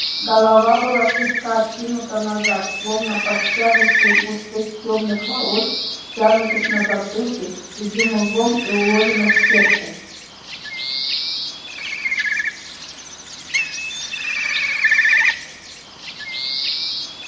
голова была слегка откинута назад словно под тяжестью густых тёмных волос стянутых на затылке тугим узлом и уложенных в сетку